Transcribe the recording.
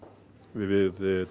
við